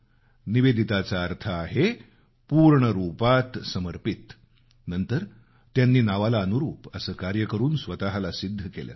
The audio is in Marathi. निवेदिताचा अर्थ आहे पूर्ण रुपात समर्पित नंतर त्यांनी नावाला अनुरूप असं कार्य करून स्वतःला सिद्ध केलं